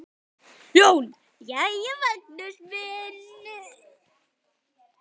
JÓN: Jæja, Magnús minn!